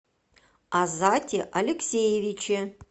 азате алексеевиче